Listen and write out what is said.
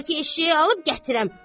Bəlkə eşşəyi alıb gətirəm.